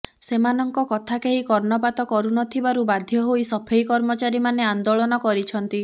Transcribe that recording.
ସେମାନଙ୍କ କଥା କେହି କର୍ଣ୍ଣପାତ କରୁନଥିବାରୁ ବାଧ୍ୟ ହୋଇ ସଫେଇ କର୍ମଚାରୀମାନେ ଆନ୍ଦୋଳନ କରିଛନ୍ତି